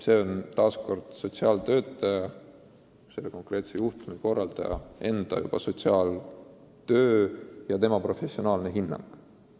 See on konkreetse juhtumikorraldaja otsustada, tegu on tema professionaalse hinnanguga.